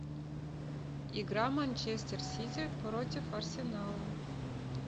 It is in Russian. игра манчестер сити против арсенала